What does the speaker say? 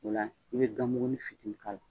Ola i bɛ ganmugunin fitinin k'a la